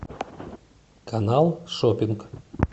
канал шоппинг